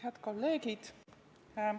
Head kolleegid!